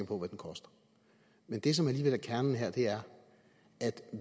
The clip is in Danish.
på hvad den koster men det som alligevel er kernen her er at